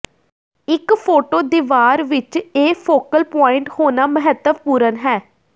ਇੱਕ ਫੋਟੋ ਦੀਵਾਰ ਵਿੱਚ ਇਹ ਫੋਕਲ ਪੁਆਇੰਟ ਹੋਣਾ ਮਹੱਤਵਪੂਰਣ ਹੈ